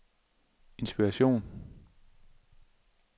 inspiration